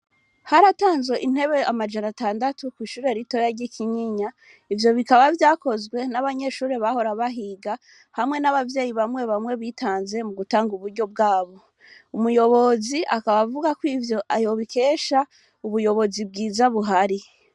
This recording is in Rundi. Haratanzwe intebe amajana atandatu ko'ishure ritoya ry'kinyinya ivyo bikaba vyakozwe n'abanyeshuri bahora bahiga hamwe n'abavyeyi bamwe bamwe bitanze mu gutanga uburyo bwabo umuyobozi akaba avuga ko ivyo ayobikesha ubuyobozi bwiza buhari.